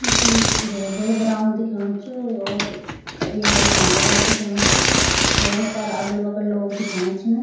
यु कुई भोत बड़ू ग्राउंड दिखेणु च और क येमा एक घंटा घर दिखेणु च भोत सारा अगल-बगल लोग दिखेणा छिन।